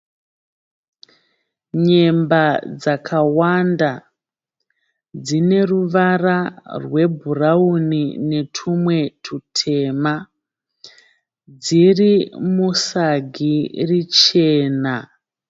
Nyemba dzakawanda dzine ruvara rwebhurauni netumwe tutema dziri musagi richena